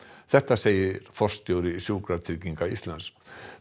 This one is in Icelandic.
þetta segir forstjóri Sjúkratrygginga Íslands